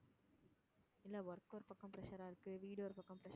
இல்ல work ஒரு பக்கம் pressure ஆ இருக்கு, வீடு ஒரு பக்கம் pressure